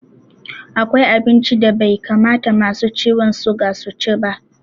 Akwai abinci da bai kamata masu ciwon suga su ci ba.